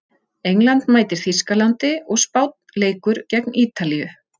England mætir Þýskalandi og Spánn leikur gegn Ítalíu.